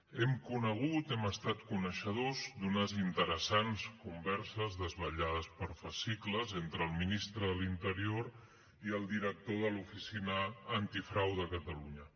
hem conegut hem estat coneixedors d’unes interessants converses desvelades per fascicles entre el ministre de l’interior i el director de l’oficina antifrau de catalunya